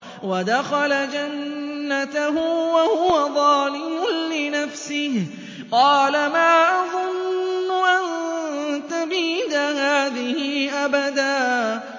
وَدَخَلَ جَنَّتَهُ وَهُوَ ظَالِمٌ لِّنَفْسِهِ قَالَ مَا أَظُنُّ أَن تَبِيدَ هَٰذِهِ أَبَدًا